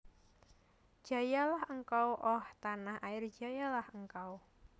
Jayalah engkau Oh tanah air jayalah engkau